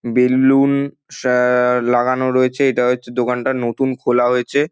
বেলু-উন আ-আ লাগানো রয়েছে এটা হচ্ছে দোকানটা নতুন খোলা হয়েছে।